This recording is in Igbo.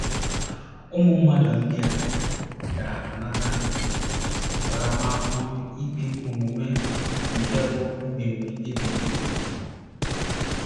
Ụmụ mmadụ ndị a “ ga - anata ntaramahụhụ ikpe ọmụma nke bụ́ mbibi ebighị ebi. ”